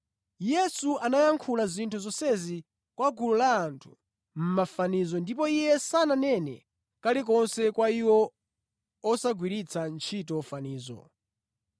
Yesu anayankhula zinthu zonsezi kwa gulu la anthu mʼmafanizo ndipo Iye sananene kalikonse kwa iwo osagwiritsa ntchito fanizo.